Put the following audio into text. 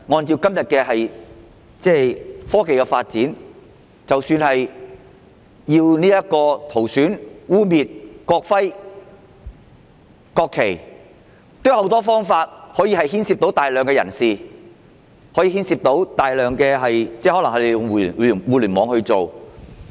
以今天的科技發展，即使是塗損或污衊國徽和國旗，亦可以牽涉大量人士，因為他們也可能利用互聯網行事。